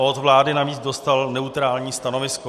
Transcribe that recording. Od vlády navíc dostal neutrální stanovisko.